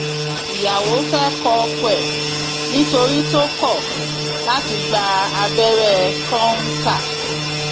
ìyàwó fẹẹ kọ ọkọ ẹ nítorí tó kọ láti gba abẹrẹ kọńtà